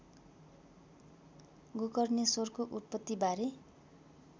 गोकर्णेश्वरको उत्पत्तिबारे